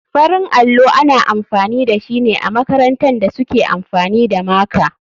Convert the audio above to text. Farin allo ana amfani dashine amakarantan da suke amfani da maka.